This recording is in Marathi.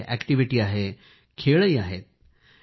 यामध्ये अॅक्टिव्हिटी आहे खेळही आहे